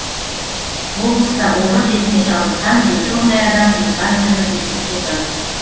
облыста обыр дертіне шалдыққан жеті мыңдай адам диспансерлік есепте тұр